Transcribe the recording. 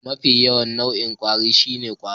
Mafi yawan nau'in kwari shine irin ƙwaro.